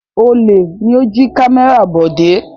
Olè ni ó jí kámẹ́rà Bọ̀dé.